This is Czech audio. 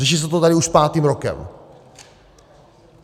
Řeší se to tady už pátým rokem.